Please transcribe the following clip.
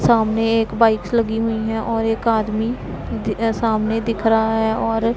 सामने एक बाइक्स लगी हुई हैं और एक आदमी सामने दिख रहा है और--